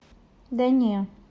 да не